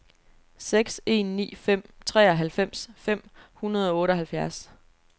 seks en ni fem treoghalvfems fem hundrede og otteoghalvfjerds